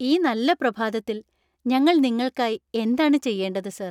ഈ നല്ല പ്രഭാതത്തിൽ ഞങ്ങൾ നിങ്ങൾക്കായി എന്താണ് ചെയ്യേണ്ടത് സർ?